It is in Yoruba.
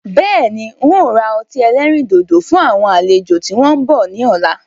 Bẹ́ẹ̀ni, ń ó ra ọtí ẹlẹ́rìndòdò fún àwọn àlejò tí wọn bọ̀ ni ọ̀la.